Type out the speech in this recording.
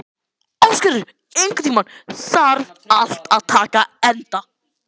Ásgerður, einhvern tímann þarf allt að taka enda.